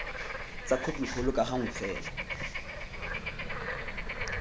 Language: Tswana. tsa khopikgolo ka gangwe fela